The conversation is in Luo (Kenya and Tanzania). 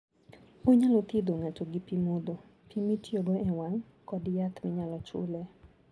Onyalo thiedho ng'ato gi pi modho, pi mitiyogo e wang ', kod yath minyalo chule.